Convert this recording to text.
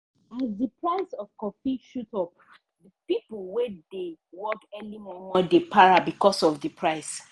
as di price of coffee shoot up the pipo wey dey work early momo dey para becuase of di price.